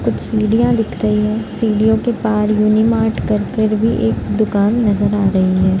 कुछ सीढ़ियाँ दिख रही है। सीढ़ियों के पार युनि मार्ट कर कर भी एक दूकान नजर आरही है।